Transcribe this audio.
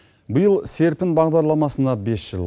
биыл серпін бағдарламасына бес жыл